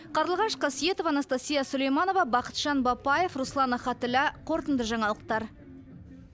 қарлығаш қасиетова анастасия сулейманова бақытжан бапаев руслан ахатілла қорытынды жаңалықтар